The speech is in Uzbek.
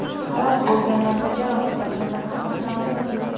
Halok bo‘lganlar va jarohat olganlar haqida ma’lumot yo‘q.